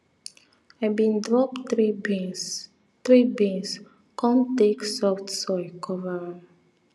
i bin drop three beans three beans come take soft soil cover am